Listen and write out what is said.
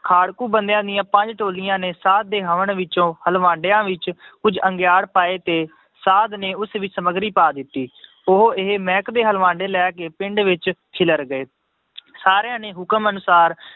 ਖਾੜਕੂ ਬੰਦਿਆਂ ਦੀਆਂ ਪੰਜ ਟੋਲੀਆਂ ਨੇ ਸਾਧ ਦੇ ਹਵਨ ਵਿੱਚੋਂ ਹਲਵਾਡਿਆ ਵਿੱਚ ਕੁੱਝ ਅੰਗਿਆੜ ਪਾਏ ਤੇ ਸਾਧ ਨੇ ਉਸ ਵਿੱਚ ਸਮੱਗਰੀ ਪਾ ਦਿੱਤੀ ਉਹ ਇਹ ਮਹਿਕ ਦੇ ਹਲਵਾਡੇ ਲੈ ਕੇ ਪਿੰਡ ਵਿੱਚ ਖਿਲਰ ਗਏ ਸਾਰਿਆਂ ਨੇ ਹੁਕਮ ਅਨੁਸਾਰ